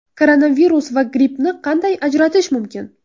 Koronavirus va grippni qanday ajratish mumkin?